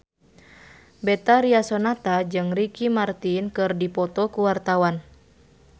Betharia Sonata jeung Ricky Martin keur dipoto ku wartawan